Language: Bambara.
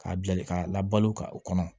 K'a bila de k'a labalo ka o kɔnɔ